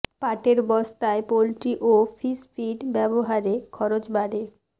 পাটের বস্তায় পোল্ট্রি ও ফিশ ফিড ব্যবহারে খরচ বাড়ে